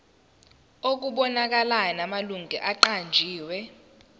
okubonakalayo namalungu aqanjiwe